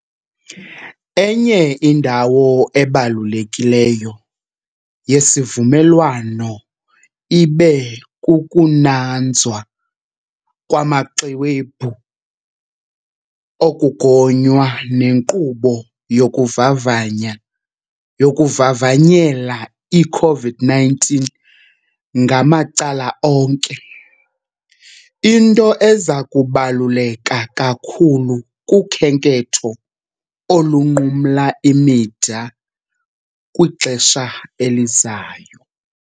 Enye indawo ebalulekileyo yesivumelwano ibekukunanzwa kwamaxwebhu okugonya nenkqubo yokuvavanya yokuvavanyela i-COVID-19 ngamacala onke - into eza kubaluleka kakhulu kukhenketho olunqumla imida kwixesha elizayo.